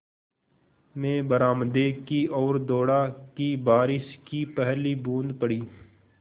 मैं बरामदे की ओर दौड़ा कि बारिश की पहली बूँद पड़ी